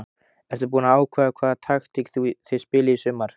Ertu búinn að ákveða hvaða taktík þið spilið í sumar?